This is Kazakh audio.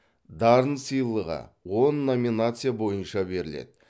дарын сыйлығы он номинация бойынша беріледі